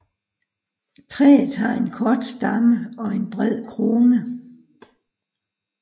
Træet har en kort stamme og en bred krone